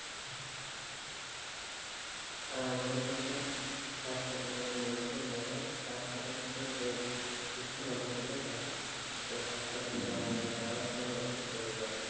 হ্যাঁ আমাদের দেশে হাসপাতালে যে রোগীকে নেওয়া হয় তার সাথে সাথে যে সুস্থ মানুষ গুলো থাকে ওই হাসপাতালে যাওয়ার কারণে তারাও সবাই অসুস্থ হয়ে যায়,